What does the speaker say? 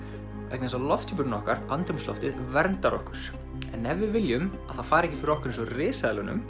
vegna þess að lofthjúpurinn okkar andrúmsloftið verndar okkur en ef við viljum að það fari ekki fyrir okkur eins og